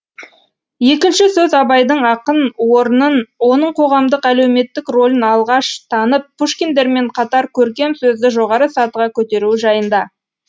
екінші сөз абайдың ақын орнын оның қоғамдық әлеуметтік ролін алғаш танып пушкиндермен қатар көркем сөзді жоғары сатыға көтеруі жайында